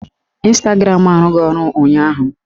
Ịnstagram arụghị ọrụ ụnyaahụ